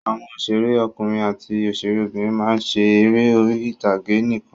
Àwọn òṣèré ọkùnrin àti òṣèré obìnrin máa ń ṣe eré orí ìtàgé nìkan.